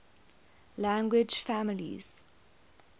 language families